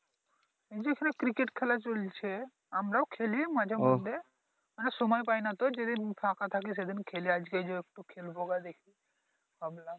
এইযে এইখানে ক্রিকেট খেলা চলছে আমরাও খেলি মাঝে মধ্যে সময় পাইনা তো যেদিন ফাঁকা থাকে সেদিন খেলি আজকে যে একটু খেলবো বা দেখি ভাবলাম